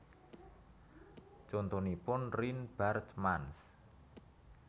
Contonipun Rien Baartmans